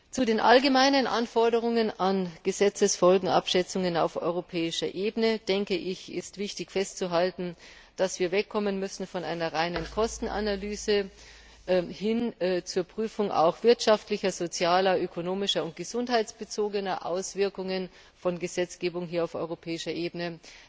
Hinsichtlich der allgemeinen Anforderungen an Gesetzesfolgenabschätzungen auf europäischer Ebene ist wichtig festzuhalten, dass wir wegkommen müssen von einer reinen Kostenanalyse hin zur Prüfung wirtschaftlicher, sozialer, ökonomischer und gesundheitsbezogener Auswirkungen von Gesetzgebung auf europäischer Ebene.